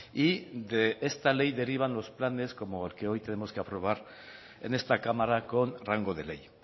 y de esta ley derivan los planes como el que hoy tenemos que aprobar en esta cámara con rango de ley